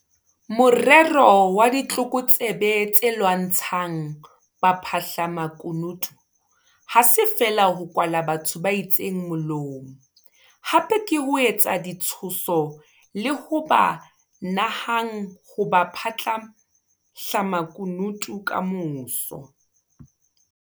Morero wa ditlokotsebe tse lwantshang baphahlamaku nutu ha se feela ho kwala batho ba itseng molomo - hape ke ho etsa ditshoso le ho ba ka nahang ho ba baphahlamakunutu kamoso.